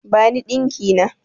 Bani ɗinki na!